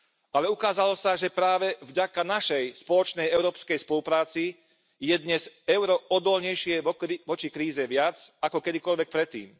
Ale ukázalo sa, že práve vďaka našej spoločnej európskej spolupráci je dnes euro odolnejšie voči kríze viac ako kedykoľvek predtým.